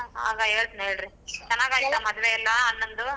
ಆಗ ಹೇಳ್ತಿನ್ ಹೇಳ್ರಿ ಚನಾಗೈತಾ ಮದ್ವೆ ಎಲ್ಲಾ ಅಣ್ಣಂದು?